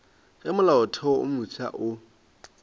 ge molaotheo wo mofsa o